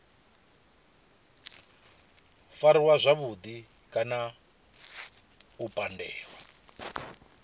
fariwa zwavhudi kana u pandelwa